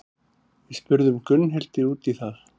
Við spurðum Gunnhildi út í það.